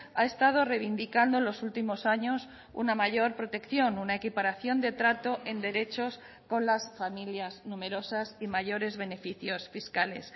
ha estado reivindicando en los últimos años una mayor protección una equiparación de trato en derechos con las familias numerosas y mayores beneficios fiscales